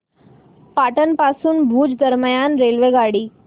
पाटण पासून भुज दरम्यान रेल्वेगाडी